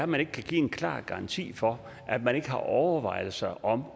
man ikke kan give en klar garanti for at man ikke har overvejelser om